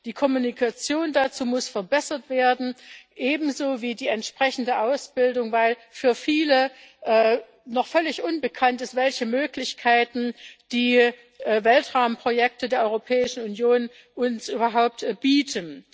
Die Kommunikation dazu muss ebenso verbessert werden wie die entsprechende Ausbildung, weil für viele noch völlig unbekannt ist, welche Möglichkeiten die Weltraumprojekte der Europäischen Union uns überhaupt bieten.